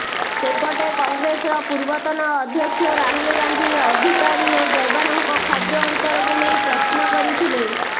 ସେପଟେ କଂଗ୍ରେସର ପୂର୍ବତନ ଅଧ୍ୟକ୍ଷ ରାହୁଲ ଗାନ୍ଧି ଅଧିକାରୀ ଓ ଯବାନଙ୍କ ଖାଦ୍ୟ ଅନ୍ତରକୁ ନେଇ ପ୍ରଶ୍ନ କରିଥିଲେ